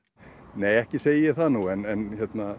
nei ekki segi ég það nú en